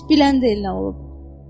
Heç bilən də el nə olub?